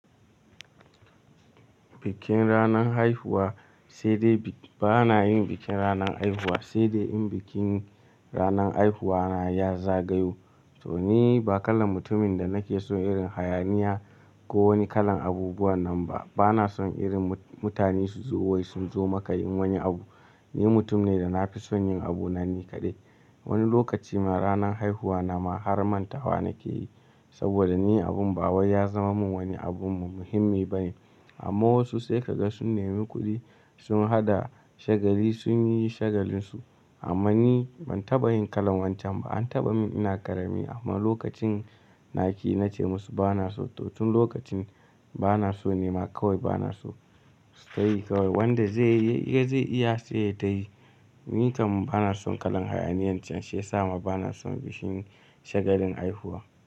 Bikin ranar haihuwa sai dai, ba na yin bikin ranar haihuwa sai dai in bikin ranar haihuwa na ya zagayo. Toh, ni ba kalar mutumin da nake son irin hayaniya ko wani kalan abubuwan nan ba. Bana son irin mutane su zo wai sun zo maka yin wani abu. Ni mutum ne da na fi son yin abuna ni kaɗai. Wani lokaci ma, ranan haihuwa na ma har mantawa nake yi saboda ni abin ba wai ya zama min wani abu muhimmi ba ne. Amma wasu sai ka ga sun nemi kuɗi, sun haɗa shagali sun yi shagalin su. Amma ni ban taɓa yin kalan wancan ba. An taɓa min ina ƙarami amma lokacin naki nace musu "bana so". To tun lokacin bana so nema kawai bana so su tayi kawai wanda zai iya zai iya sai ya tayi. Ni kam bana son kalan hayaniyan can, shi yasa ma bana son bikin shagalin haihuwa.